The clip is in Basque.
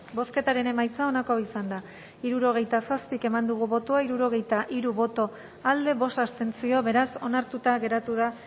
bozketaren emaitza onako izan da hirurogeita zortzi eman dugu bozka hirurogeita hiru boto alde bost abstentzio beraz onartuta geratu da